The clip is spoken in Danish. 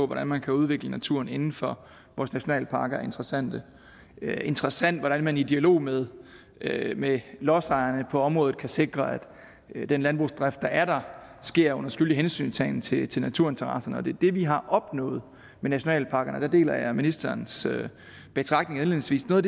hvordan man kan udvikle naturen inden for vores nationalparker er interessante det er interessant hvordan man i dialog med dialog med lodsejerne på området kan sikre at den landbrugsdrift der er der sker under skyldig hensyntagen til til naturinteresserne og det er det vi har opnået med nationalparkerne og der deler jeg ministerens betragtning indledningsvis noget